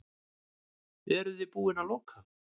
Eruði búin að loka?